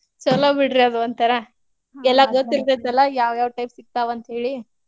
ಛೋಲೋ ಬಿಡ್ರಿ ಅದೋಂತರಾ ಎಲ್ಲಾ ಗೊತ್ತ್ ಇರ್ತೆತಲ್ಲ ಯಾವ್ ಯಾವ್ type ಸಿಗ್ತಾವ್ ಅಂತ್ಹೇಳಿ.